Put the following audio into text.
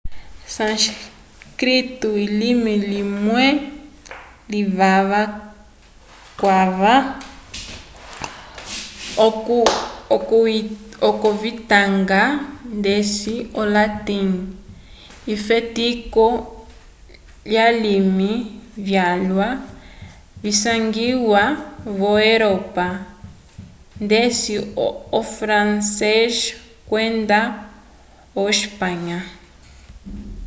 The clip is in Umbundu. sânscrito elime limwe livala calwa okuyitanga ndeci o-latim efetiko lyalimi vyalwa visangiwa vo-europa ndeci o francês kwenda o espanya